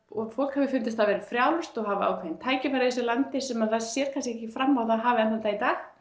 og fólk hefur fundist það vera frjálst og hafa ákveðin tækifæri í þessu landi sem það sér kannski ekki fram á að það hafi enn þann dag í dag